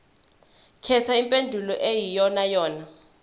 khetha impendulo eyiyonayona